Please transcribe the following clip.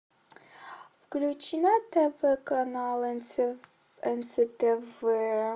включи на тв канал нств